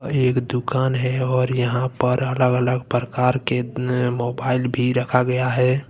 ये एक दुकान है और यहां पर अलग अलग प्रकार के नए मोबाइल भी रखा गया हैं।